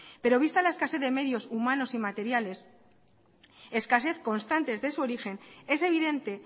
pero vista la escasez de medios humanos y materiales escasez constantes de su origen es evidente